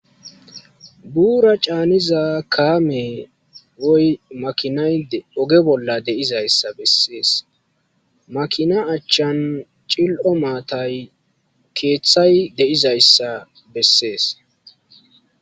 Buura caaniza kaamey woy makinay oge bolla de'izaysi beses, makina achan cil'o matay keethayi de'izaysa beses